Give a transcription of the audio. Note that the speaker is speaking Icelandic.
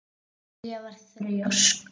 Lilla var þrjósk.